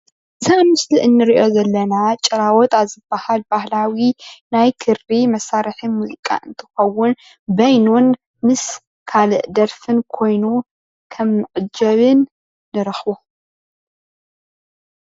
እዚ ኣብ ምስሊ ንሪኦ ዘለኣ ጭራዋጣ ባህላዊ ናይ ክሪ መሳርሒ ሙዚቃ እንትትከዉን በይኑን ምስ ካልእ ደርፍን ኮይኑ ከም ምዐጀብን ንረክቦ::